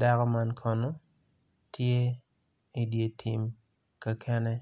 dako man kono tye idye tim kakenen